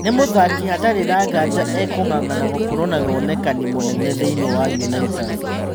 Nĩ mũthaki hatarĩ na nganja e-kũng'ang'ana gũkorwo na wonekani mũnene thĩinĩ wa Unaitas.